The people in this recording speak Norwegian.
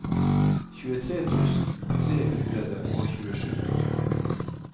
tjuetre tusen tre hundre og tjuesju